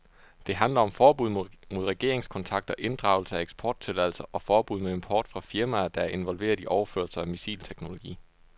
Det handler om forbud mod regeringskontakter, inddragelse af eksporttilladelser og forbud mod import fra firmaer, der er involveret i overførelser af missilteknologi.